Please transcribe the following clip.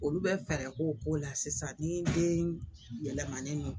Olu bɛ fɛɛrɛ k'o ko la sisan ni den yɛlɛmani nɔ